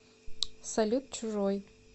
салют чужой